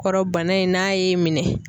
Kɔrɔ bana in n'a y'e minɛn